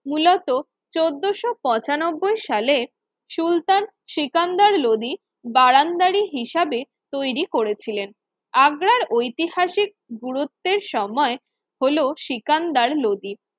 মূলত চোদ্দোশো পঁচানব্বই সালের সুলতান সিকান্দার লোদী বাগানবাড়ী হিসাবে তৈরি করেছিলেন আগ্রার ঐতিহাসিক গুরুত্বের সময় হলো সিকান্দার লোদী